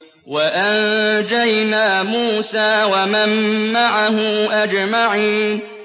وَأَنجَيْنَا مُوسَىٰ وَمَن مَّعَهُ أَجْمَعِينَ